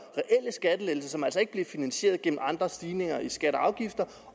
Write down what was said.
reelle skattelettelser som altså ikke bliver finansieret gennem andre stigninger i skatter og afgifter